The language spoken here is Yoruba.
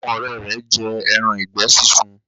Àwọn òré rẹ jé èràn ìgbẹ sisùn.